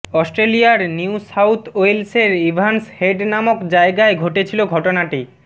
অস্ট্রেলিয়ার New South ওয়েলসের Evans Head নামক জায়গায় ঘটেছিল ঘটনাটি